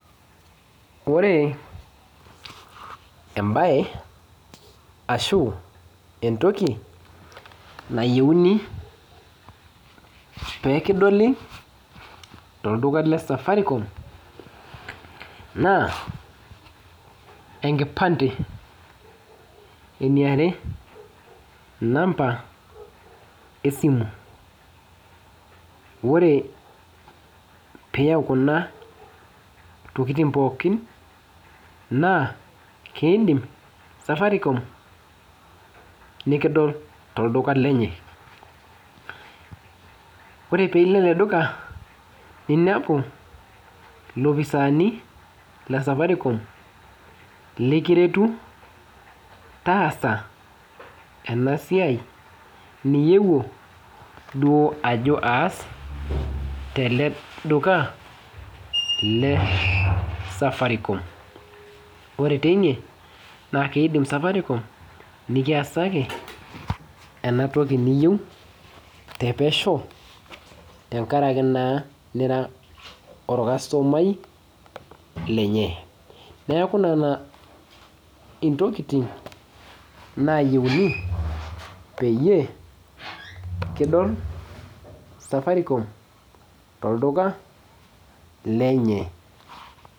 Ore embaye ashu entoki nayieuni pee kidoli tolduka le Safaricom naa enkipande eniare namba esimu ore pee iyaau kuna tokitin pookin naa kiidim Safaricom nikidol tolduka lenye ore pee ilo ele duka ninepu ilopisaani le Safaricom likiretu taasa ena siai niyieuo duo ajo aas tele duka le Safaricom ore teine naa kiidim Safaricom nikiasaki ena toki niyieu tenkaraki naa nira orkastomai lenye neeku nena ntokitin naayieuni peyie kidol Safaricom tolduka lenye.